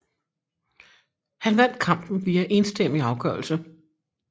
Han vandt kampen via enstemmig afgørelse